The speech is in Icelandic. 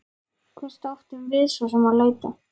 Hvert áttum við svo sem að leita?